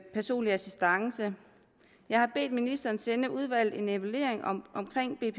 personlig assistance jeg har bedt ministeren sende udvalget en evaluering